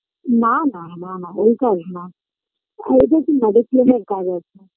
না না না না ওই কাজ না করবি তুই Oriflame -এর কাজ আছে